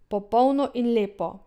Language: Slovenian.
Popolno in lepo.